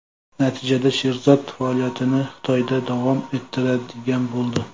Natijada Sherzod faoliyatini Xitoyda davom ettiradigan bo‘ldi.